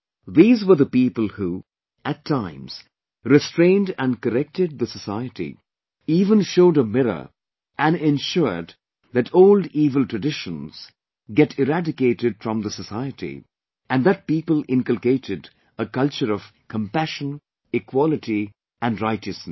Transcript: These were the people who, at times restrained and corrected the society, even showed a mirror and ensured that old evil traditions get eradicated from the society and that people inculcated a culture of compassion, equality and righteousness